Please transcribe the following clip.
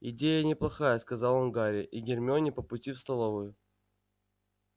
идея неплохая сказал он гарри и гермионе по пути в столовую